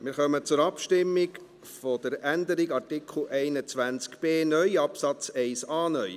Wir kommen zur Abstimmung über die Änderung betreffend Artikel 21b (neu) Absatz 1a (neu).